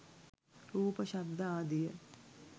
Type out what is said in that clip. රූප, ශබ්ද ආදිය